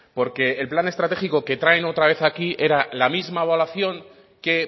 porque el plan estratégico que traen otra vez aquí era la misma evaluación que